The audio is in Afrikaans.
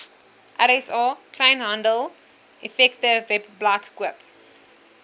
rsa kleinhandeleffektewebblad koop